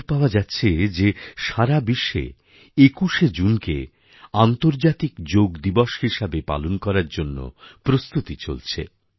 খবর পাওয়া যাচ্ছে যে সারা বিশ্বে ২১শে জুনকে আন্তর্জাতিক যোগ দিবস হিসেবে পালন করার জন্য প্রস্তুতি চলছে